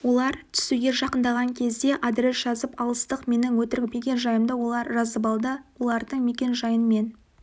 олар түсуге жақындаған кезде адрес жазып алыстық менің өтірік мекен-жайымды олар жазып алды олардың мекенжайын мен